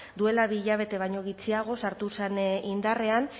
duela bi hilabete baino gutxiago sartu zen indarrean